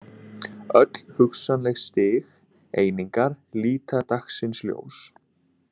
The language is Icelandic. Öll hugsanleg stig einingar líta dagsins ljós.